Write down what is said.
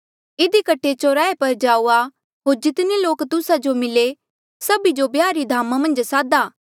इधी कठे चौराहे पर जाऊआ होर जितने लोक तुस्सा जो मिले सभी जो ब्याह री धामा मन्झ सादा